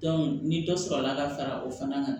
ni dɔ sɔrɔla ka fara o fana kan